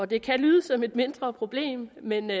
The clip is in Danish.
det kan lyde som et mindre problem men